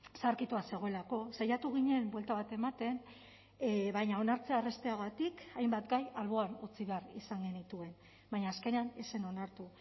zaharkitua zegoelako saiatu ginen buelta bat ematen baina onartzea errazteagatik hainbat gai alboan utzi behar izan genituen baina azkenean ez zen onartu